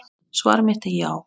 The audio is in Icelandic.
Svar mitt er já.